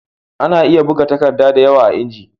Ana iya buga takadda da yawa a inji